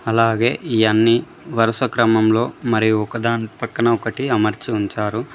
అలాగే ఇయన్ని వరుస క్రమంలో మరియు ఒకదాని పక్కన ఒకటి అమర్చి ఉంచారు.